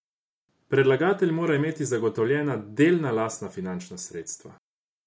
Predlagatelj mora imeti zagotovljena delna lastna finančna sredstva.